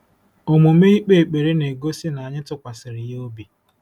Omume ikpe ekpere na-egosi na anyị tụkwasịrị ya obi.